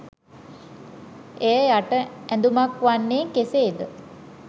එය යට ඇඳුමක් වන්නේ කෙසේද?